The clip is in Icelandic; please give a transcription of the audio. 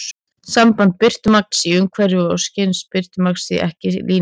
Samband birtumagns í umhverfi og skynjaðs birtumagns er því ekki línulegt.